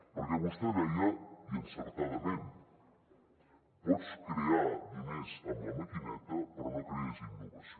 perquè vostè deia i encertadament pots crear diners amb la maquineta però no crees innovació